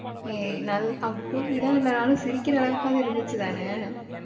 ஏய் நல் அவ் தூங்கிதானாலும், சிரிக்கிற அளவுக்காது இருந்துச்சு தான?